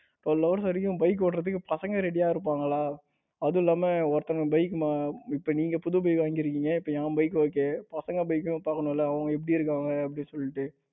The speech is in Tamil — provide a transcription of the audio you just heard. அவ்ளோ நேரம் வரைக்கும் bike ஓட்டுவதற்கு பசங்க ready இருப்பாங்களா? அதுவும் இல்லாம ஒருத்தவங்க bike இப்ப நீங்க புது bike வாங்கி இருக்கீங்க இப்ப என் bike okay பசங்க bike யும் பாக்கணும்மில்ல அவங்க எப்படி இருக்காங்க அப்படின்னு சொல்லிட்டு.